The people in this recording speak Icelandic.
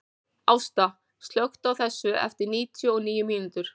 Ásta, slökktu á þessu eftir níutíu og níu mínútur.